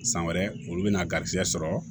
San wɛrɛ olu bɛna garizɛ sɔrɔ